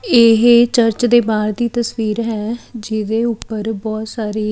ਇਹ ਚਰਚ ਦੇ ਬਾਹਰ ਦੀ ਤਸਵੀਰ ਹੈ ਜਿਹਦੇ ਉੱਪਰ ਬਹੁਤ ਸਾਰੇ --